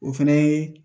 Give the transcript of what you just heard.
O fɛnɛ ye